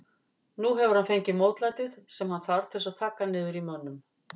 Nú hefur hann fengið mótlætið sem hann þarf til þess að þagga niður í mönnum.